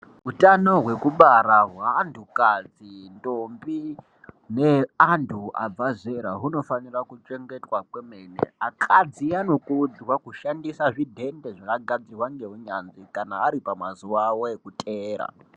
Utano hwekubara hweantukadzi, ndombi neantu abvazera hunofanira kuchengetwa kwemene. Akadzi anokurudzirwa kushandisa zvidhende zvakagadzirwa ngeunyanzvi kana ari pamazuva avo ekutera.